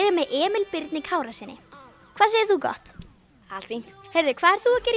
ég með Emil Birni Kárasyni hvað segir þú gott allt fínt hvað ert þú að gera í